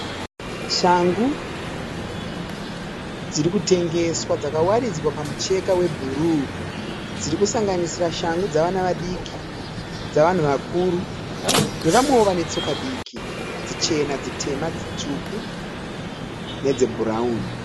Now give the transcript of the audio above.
Shangu dzirikutengeswa dzakawaridzwa pamucheka we brue, dzirikusanganisira shangu dzavana vadiki, dzavanhu vakuru nevamwewo vane tsoka diki, dzichena, dzitema, dzitsvuku nedze brown.